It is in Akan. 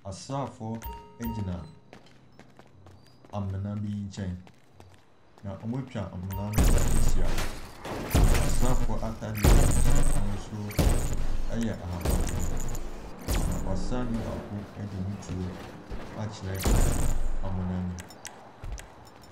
Asrafoɔ gyina amena bi nkyɛn. Na wɔatwa amena no ho ahyia. Asrafoɔ ataadeɛ a wɔhyɛ no n'ahosuo yɛ ahabanmono. Na ɔsrani baako de ne tuo akyerɛ amena no mu.